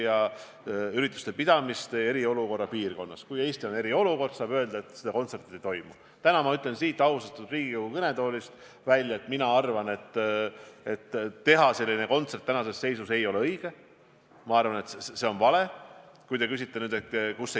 Aitäh, lugupeetud eesistuja!